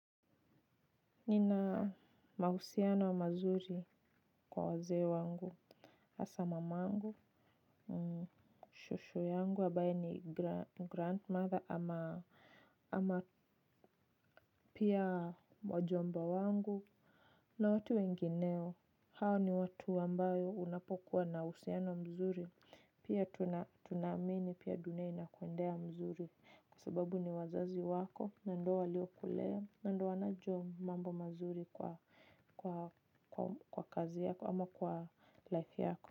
Nina mahusiano mazuri kwa wazee wangu hasa mamangu Shosho yangu ambaye ni grandmother ama ama pia wajomba wangu. Na watu wengineo hao ni watu ambayo unapokuwa na uhusiano mzuri. Pia tunaamini pia dunia inakuendea mzuri kwa sababu ni wazazi wako na ndoa ndio kulea na ndo wanajua mambo mazuri kwa kwa kazi yako ama kwa life yako.